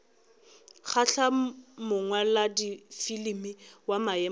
kgahla mongwaladifilimi wa maemo a